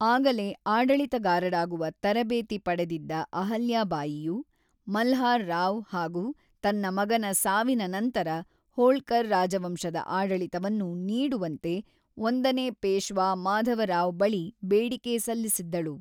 ಆಗಲೇ ಆಡಳಿತಗಾರಳಾಗುವ ತರಬೇತಿ ಪಡೆದಿದ್ದ ಅಹಲ್ಯಾ ಬಾಯಿಯು ಮಲ್ಱಾರ್‌ ರಾವ್‌ ಹಾಗೂ ತನ್ನ ಮಗನ ಸಾವಿನ ನಂತರ ಹೋಳ್ಕರ್‌ ರಾಜವಂಶದ ಆಡಳಿತವನ್ನು ನೀಡುವಂತೆ ಒಂದನೇ ಪೇಶ್ವಾ ಮಾಧವ ರಾವ್‌ ಬಳಿ ಬೇಡಿಕೆ ಸಲ್ಲಿಸಿದ್ದಳು.